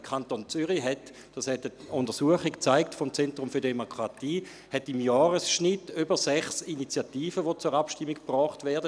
Der Kanton Zürich hat im Jahresschnitt über sechs Initiativen, die zur Abstimmung gebracht werden.